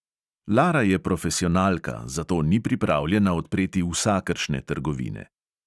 Lara je profesionalka, zato ni pripravljena odpreti vsakršne trgovine.